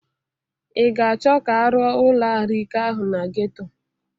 Ị ga-achọ ka arụọ ụlọarụike ahụ na Geto?